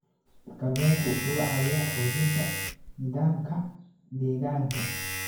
Kalluunku wuxuu caawiyaa xoojinta nidaamka deegaanka.